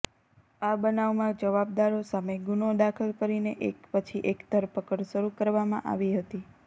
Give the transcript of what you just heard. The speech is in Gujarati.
આ બનાવમાં જવાબદારો સામે ગુનો દાખલ કરીને એક પછી એક ધરપકડ શરુ કરવામાં આવી હતી